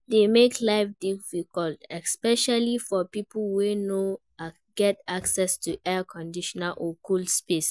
Heat dey make life difficult, especially for people wey no get access to air conditioning or cool space.